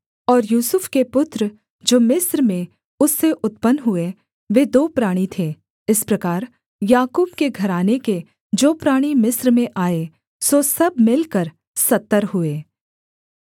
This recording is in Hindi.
और यूसुफ के पुत्र जो मिस्र में उससे उत्पन्न हुए वे दो प्राणी थे इस प्रकार याकूब के घराने के जो प्राणी मिस्र में आए सो सब मिलकर सत्तर हुए